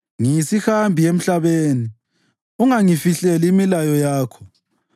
Ngiyisihambi emhlabeni; ungangifihleli imilayo yakho.